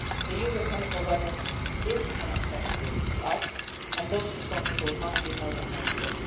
The use of chemical weapons is unacceptable to us, and those responsible must be held accountable.